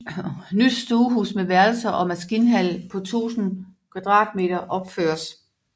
Nyt stuehus med værelser og maskinhal på 1000 m2 opføres